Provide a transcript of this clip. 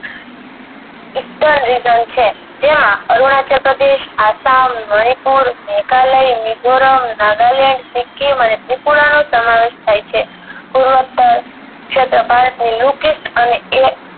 ઉત્તમ reason જેમાં અરુણાચલ પ્રદેશ આસામ મણિપુર મેઘાલય મીજોરમ નાગાલેંડ સિક્કિમ અને ત્રિપુરા નો સમાવેશ થાય છે છતાં ભારતની